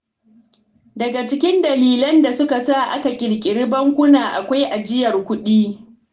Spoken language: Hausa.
Daga cikin dalilan da suka sa aka ƙirƙiri bankuna akwai ajiyar kuɗi.